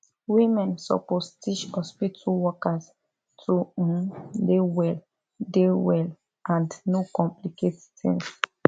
women suppose teach hospitu workers to um dey well dey well and no complicate tings